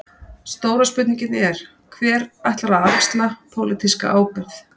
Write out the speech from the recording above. Stóra spurningin er: Hver ætlar að axla pólitíska ábyrgð?